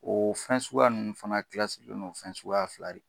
O fɛn suguya nunnu fana fɛn suguya fila in kan